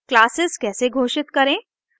classes कैसे घोषित करें